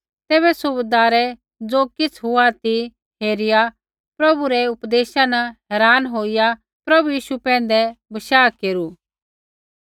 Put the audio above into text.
तैबै सूबैदारै ज़ो किछ़ हुआ ती हेरिआ होर प्रभु रै उपदेशा न हैरान होईया पभु यीशु पैंधै विश्वास केरू